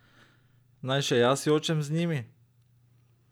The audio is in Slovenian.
Naj še jaz jočem z njimi?